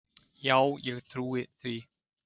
Já ég trúi því.